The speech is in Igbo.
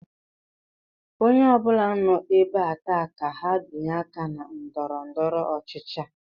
Onye obula nọ ébé a taa ka ha binye àkà na ndọrọdọrọ ọchịchị a